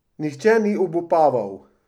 Nihče ni obupaval.